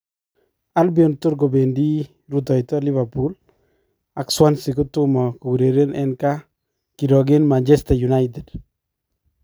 Albion toor kobeendii rutoyto Liverpool ak Swansea kotomo koureren en kaa kirooke Manchester united